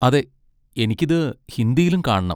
അതെ, എനിക്കിത് ഹിന്ദിയിലും കാണണം.